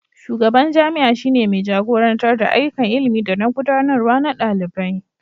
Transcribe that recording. shugaban jami'a shi ne mai jagorantar da ayyukan ilimi da na gudanarwa na dalibai